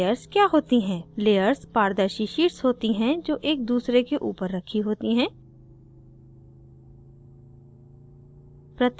layers क्या होती हैं layers पारदर्शी शीट्स होती हैं जो एक दूसरे के ऊपर रखी होती हैं